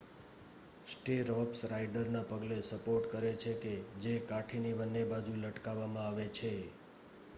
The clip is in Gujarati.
સ્ટીર્રપ્સ રાઈડરના પગને સપોર્ટ કરે છે કે જે કાઠીની બંને બાજુ લટકાવામાં આવે છે